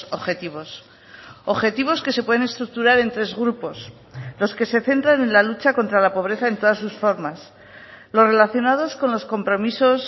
objetivos objetivos que se pueden estructurar en tres grupos los que se centran en la lucha contra la pobreza en todas sus formas los relacionados con los compromisos